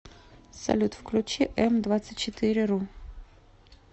салют включи эм двадцать четыре ру